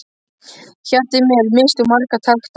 Hjartað í mér missti úr marga takta.